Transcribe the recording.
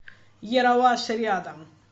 ералаш рядом